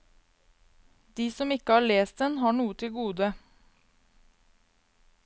De som ikke har lest den, har noe til gode.